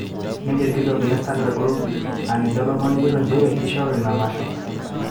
Nejo olkitok le starndard group aa ninye olomoni kitok nchere kishoru ena masho